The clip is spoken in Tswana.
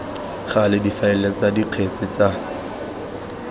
gale difaele tsa dikgetse tsa